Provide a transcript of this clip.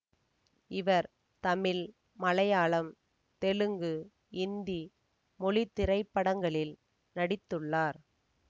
இவர் தமிழ் மலையாளம் தெலுங்கு இந்தி மொழி திரைப்படங்களில் நடித்துள்ளார்